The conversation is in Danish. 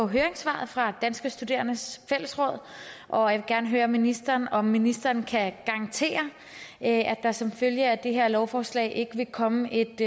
høringssvaret fra danske studerendes fællesråd og jeg gerne høre ministeren om ministeren kan garantere at der som følge af det her lovforslag ikke vil komme et